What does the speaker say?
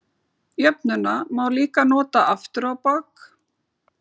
Jöfnuna má líka nota aftur á bak.